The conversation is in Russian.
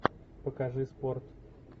покажи спорт